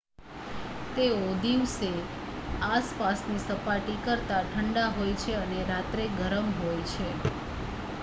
"""તેઓ દિવસે આસપાસની સપાટી કરતા ઠંડા હોય છે અને રાત્રે ગરમ હોય છે.""